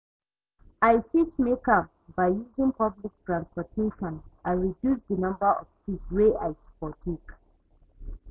i fit make am by using public transportation and reduce di number of trips wey i for take.